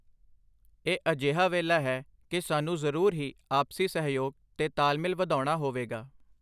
ਇਹ ਅਜਿਹਾ ਵੇਲਾ ਹੈ ਕੀ ਸਾਨੂੰ ਜ਼ਰੂਰ ਹੀ ਆਪਸੀ ਸਹਿਯੋਗ ਤੇ ਤਾਲਮੇਲ ਵਧਾੳਣਾ ਹੋਵੇਗਾ।